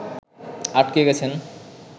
আটকে গেছেন